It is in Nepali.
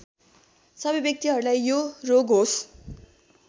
सबै व्यक्तिहरूलाई यो रोग होस्